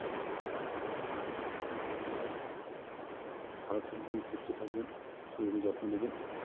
ভালো থাকবেন সুস্থ থাকবেন শরীরের যত্ন নিবেন